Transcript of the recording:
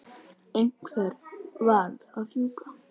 Einhver varð að fjúka.